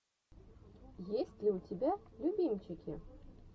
есть ли у тебя любимчики